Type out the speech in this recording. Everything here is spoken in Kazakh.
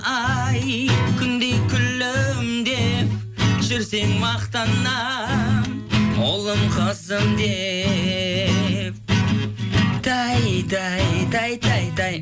ай күндей күлімдеп жүрсең мақтанамын ұлым қызым деп тәй тәй тәй тәй тәй